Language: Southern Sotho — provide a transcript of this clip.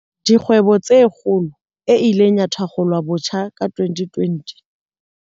Dikgwebo tse Kgolo, e ileng ya thakgolwabotjha ka 2020.